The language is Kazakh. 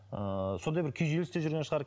ы сондай бір күйзелісте жүрген шығар